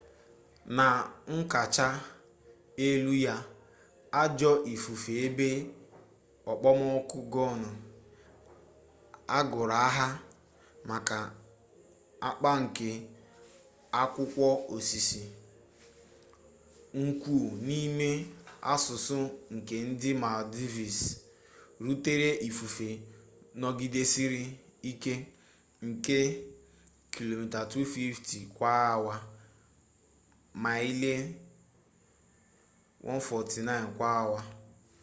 na nkacha elu ya ajọ ifufe ebe okpomọkụ gonu agụrụ aha maka akpa nke akụkwọ osisi nkwụ n’ime asụsụ nke ndị maldives rutere ifufe nọgidesịrị ike nke kilomita 240 kwa awa maịlị 149 kwa awa